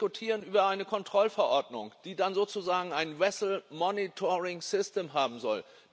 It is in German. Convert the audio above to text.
Wir diskutieren über eine Kontrollverordnung, die dann sozusagen ein vessel monitoring system haben soll.